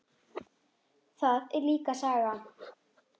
Það er líka saga.